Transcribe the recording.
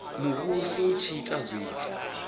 muvhuso u tshi ita zwithu